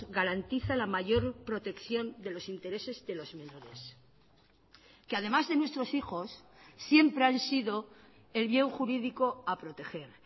garantiza la mayor protección de los intereses de los menores que además de nuestros hijos siempre han sido el bien jurídico a proteger